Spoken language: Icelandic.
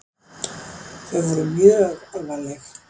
Þau voru mjög alvarleg.